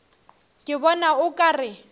ke bona o ka re